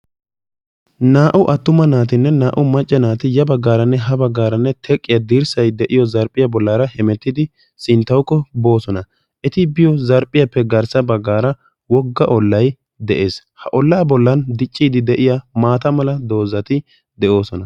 Naa"u attuma naattinne Naa"u macca naati yabbaggaaraanne habaggaaranne teqqiya dirssay de"iyiyo zarphphiya bollaara hemetidi sinttawukko boossona. Eti biyo zarphphphiyappe garssa baggaara wogga ollay de'ees. Ha ollaa bolla dicciiddi de'iya maataa mala doozzati de"oossona.